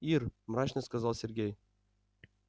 ир мрачно сказал сергей